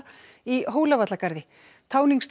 í Hólavallagarði